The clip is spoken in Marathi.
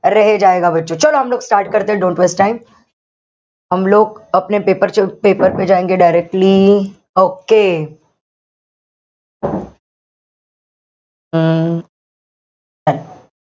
start don't waste time paper-paper directly okay हम्म